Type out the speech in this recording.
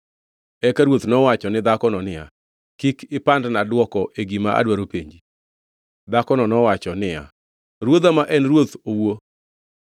Eka ruoth nowacho ni dhakono niya, “Kik ipandna dwoko e gima adwaro penji.” Dhakono nowacho niya, “Ruodha ma en ruoth owuo.”